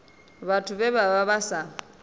vhathu vhe vha vha sa